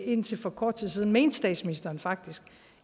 indtil for kort tid siden mente statsministeren faktisk